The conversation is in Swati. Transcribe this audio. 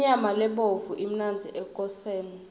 inyama lebovu imnandzi ekoseni